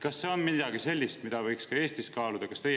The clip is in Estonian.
Kas see on midagi sellist, mida võiks ka Eestis kaaluda?